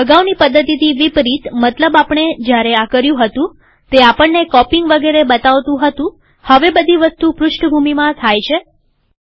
અગાઉની પદ્ધતિથી વિપરીતમતલબ આપણે જયારે આ કર્યું હતુંતે આપણને કોપીઈંગ વગેરે બતાવતું હતુંહવે બધી વસ્તુ પૃષ્ઠભૂમિબેકગ્રાઉન્ડમાં થાય છે